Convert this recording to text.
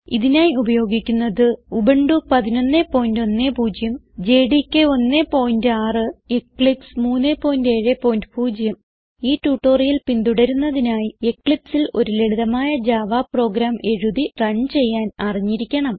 ഇതിനായി ഉപയോഗിക്കുന്നത് Ubuntu 1110 JDK 16 Eclipse 370 ഈ ട്യൂട്ടോറിയൽ പിന്തുടരുന്നതിനായി Eclipseൽ ഒരു ലളിതമായ ജാവ പ്രോഗ്രാം എഴുതി റൺ ചെയ്യാൻ അറിഞ്ഞിരിക്കണം